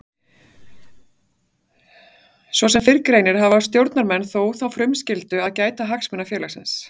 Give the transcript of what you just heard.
Svo sem fyrr greinir hafa stjórnarmenn þó þá frumskyldu að gæta hagsmuna félagsins.